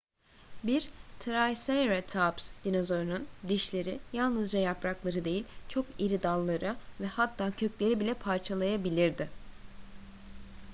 bir triceratops dinozorunun dişleri yalnızca yaprakları değil çok diri dalları ve hatta kökleri bile parçalayabilirdi